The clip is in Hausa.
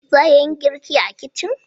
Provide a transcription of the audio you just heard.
Za a iya yin girki a kicin?